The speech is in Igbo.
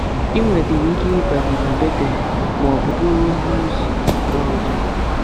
I nwedịrị ike ịbanye na Betel ma ọ bụ bụrụ onye ozi ala ọzọ.